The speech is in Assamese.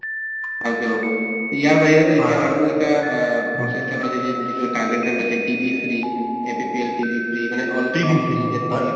ভালকে হব। ইয়াৰ বাহিৰে যদি আৰু এটা প্ৰচেষ্টা লাগে যে নিজৰ TB free APPLTB free মানে all india ত